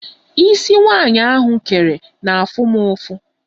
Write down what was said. Ísí nwaanyị ahụ kere m na-afụ mụ ụfụ.